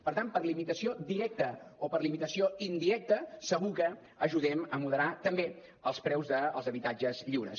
per tant per limitació directa o per limitació indirecta segur que ajudem a moderar també els preus dels habitatges lliures